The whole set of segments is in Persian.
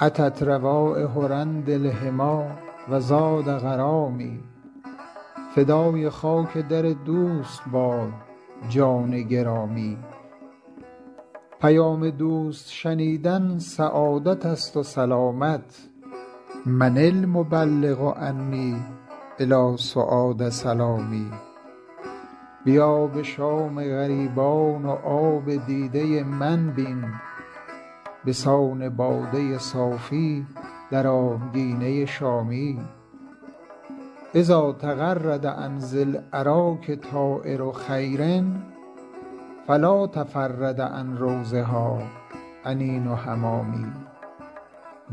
أتت روایح رند الحمیٰ و زاد غرامی فدای خاک در دوست باد جان گرامی پیام دوست شنیدن سعادت است و سلامت من المبلغ عنی إلی سعاد سلامی بیا به شام غریبان و آب دیده من بین به سان باده صافی در آبگینه شامی إذا تغرد عن ذی الأراک طایر خیر فلا تفرد عن روضها أنین حمامي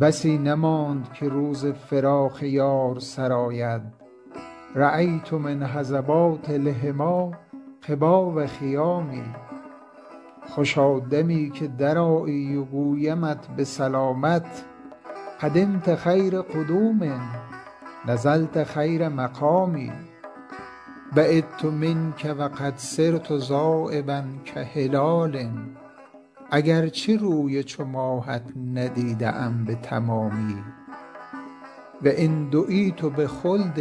بسی نماند که روز فراق یار سر آید رأیت من هضبات الحمیٰ قباب خیام خوشا دمی که درآیی و گویمت به سلامت قدمت خیر قدوم نزلت خیر مقام بعدت منک و قد صرت ذایبا کهلال اگر چه روی چو ماهت ندیده ام به تمامی و إن دعیت بخلد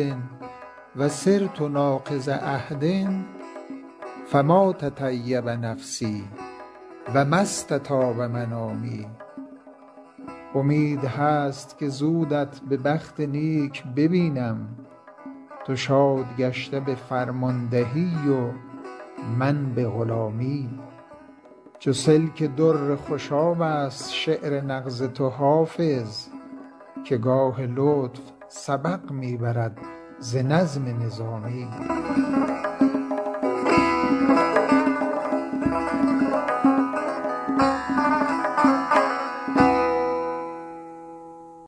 و صرت ناقض عهد فما تطیب نفسی و ما استطاب منامی امید هست که زودت به بخت نیک ببینم تو شاد گشته به فرماندهی و من به غلامی چو سلک در خوشاب است شعر نغز تو حافظ که گاه لطف سبق می برد ز نظم نظامی